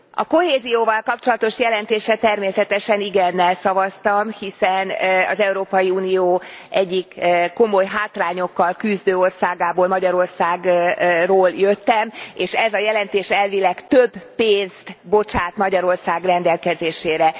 A kohézióval kapcsolatos jelentésre természetesen igennel szavaztam, hiszen az Európai Unió egyik komoly hátrányokkal küzdő országából, Magyarországról jöttem, és ez a jelentés elvileg több pénzt bocsát Magyarország rendelkezésére.